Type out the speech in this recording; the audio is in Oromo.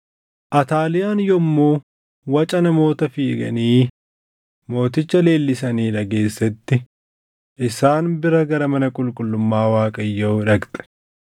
Ataaliyaan yommuu waca namoota fiiganii mooticha leellisanii dhageessetti, isaan bira gara mana qulqullummaa Waaqayyoo dhaqxe.